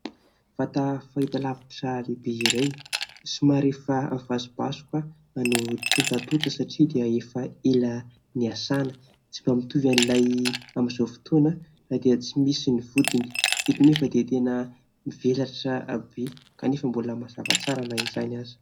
Vata fahitalavitra lehibe iray somary efa vasobasoka no tontatonta satria dia efa ela niasana, tsy mba mitovy amin'ilay amin'izao fotoana dia tsy misy ny vodiny. Eto nefa dia tena mivelatra be kanefa mbola mazava tsara na izany aza.